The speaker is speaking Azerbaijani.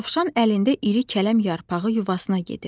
Dovşan əlində iri kələm yarpağı yuvasına gedirdi.